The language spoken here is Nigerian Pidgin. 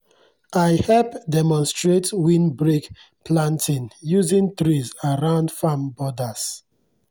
i hep demonstrate windbreak planting using trees around farm borders.